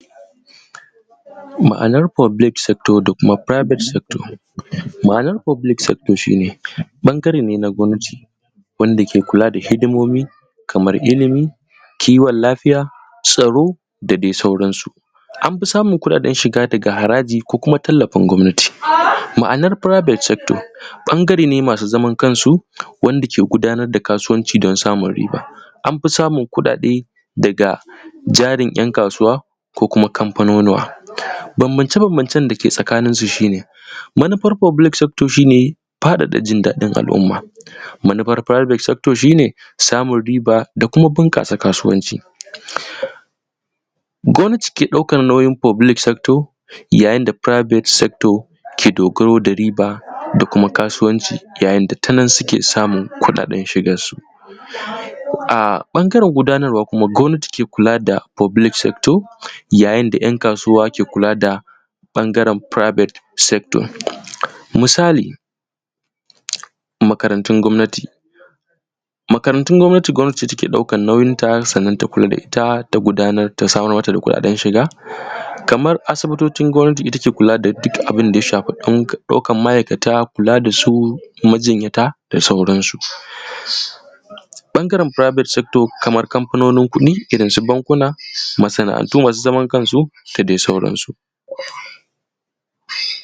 ma’anar public sector da kuma private sector ma’anar public sector shi ne ɓangare ne na gwamnati wanda ke kula da hidimomi kamar ilmi kiwon lafiya tsaro da dai sauran su anfi samun kuɗaɗen shiga daga haraji ko kuma tallafin gwamnati ma’anar private sector ɓangare ne masu zaman kan su wanda ke gudanar da kasuwanci don samun riba anfi samun kuɗaɗe daga jarin ‘yan kasuwa ko kuma kamfanonuwa bambance –bambancen dake tsakanin su shi ne manufar public sector shi ne faɗaɗa jin daɗin al’umma manufar private sector shi ne faɗaɗa riba da kuma bunƙasa kasuwanci gwamnati ke ɗaukar nauyin public sector yayin da private sector ke dogaro da riba da kuma kasuwanci yayin da tanan suke samun kuɗaɗen shigar su a ɓangaren gudanarwa kuma gwamnati ke kula da public sector yayin da ‘yan kasuwa ke kula da ɓangaren private sector misali makarantun gwamnati makarantun gwamnati gwamnati ce ke ɗaukar nauyin ta sannan ta kula da ita ta gudanar ta samar mata da kuɗaɗen shiga kamar asibitocin gwamnati ita ke kula da duk abun da ya shafi ɗaukar ma’aikata kula da su majinyata da sauran su ɓangaren private sector kaman kamfanonin kuɗi irin su bankuna masana’antu masu zaman kan su da dai sauran su